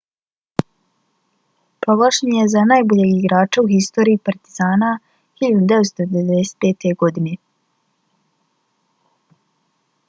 proglašen je za najboljeg igrača u historiji partizana 1995. godine